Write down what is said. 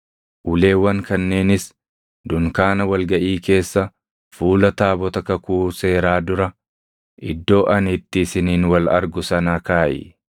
Uleewwan kanneenis dunkaana wal gaʼii keessa fuula taabota kakuu seeraa dura iddoo ani itti isiniin wal argu sana kaaʼi.